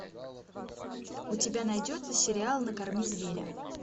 у тебя найдется сериал накорми зверя